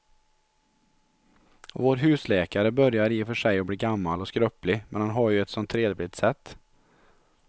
Vår husläkare börjar i och för sig bli gammal och skröplig, men han har ju ett sådant trevligt sätt!